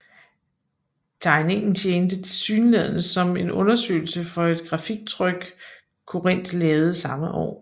Tegningen tjente tilsyneladende som en undersøgelse for et grafiktryk Corinth lavede samme år